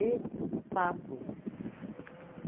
espaço.